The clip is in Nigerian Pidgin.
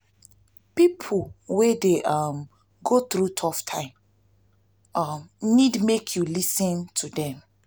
pipo wey dey um go thru tough time tough time um nid mek yu lis ten to them.